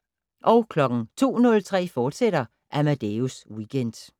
02:03: Amadeus Weekend, fortsat